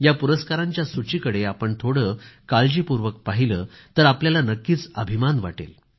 या पुरस्काराच्या सूचीकडे आपण थोडं काळजीपूर्वक पाहिलं तर आपल्याला नक्कीच अभिमान वाटेल